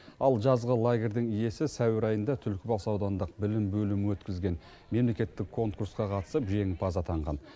ал жазғы лагерьдің иесі сәуір айында түлкібас аудандық білім бөлімі өткізген мемлекеттік конкурсқа қатысып жеңімпаз атанған